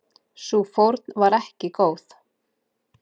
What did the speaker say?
Sú fórn var ekki góð.